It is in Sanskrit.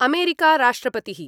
अमेरिका राष्ट्रपतिः